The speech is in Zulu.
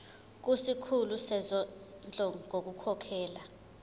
kusikhulu sezondlo ngokukhokhela